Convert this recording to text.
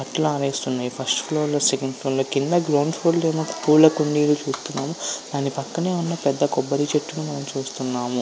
బట్టలు ఆరేసి ఉన్నాయి ఫస్ట్ ఫ్లోర్ సెకండ్ ఫ్లోర్ లో కింద గ్రౌండ్ ఫ్లోర్ ఏమో పూల కుండీలు చూస్తున్నారు దాని పక్కనే ఉన్న పెద్ద కొబ్బరి చెట్లను మనం చూస్తున్నాము.